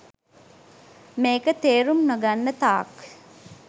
මේක තේරුම් නොගන්න තාක්